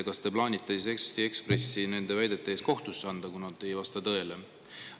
Kas te plaanite siis Eesti Ekspressi selle väite eest kohtusse anda, kuna see ei vasta tõele?